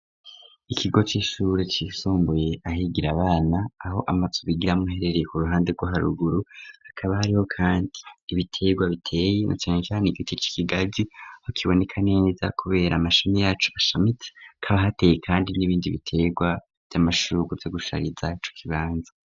Ikigo c'ishure cisombuye ahigira abana aho amazu bigiramwo herereye ku ruhande rw'haruguru hakaba hariho, kandi ibiterwa biteye no canecane igiti k'i kigazi ho kibonekaneneza, kubera amashami yacu bashamiti kaba hateye, kandi n'ibindi biterwa vy'amashuruko vyo gusharizacu kibanza.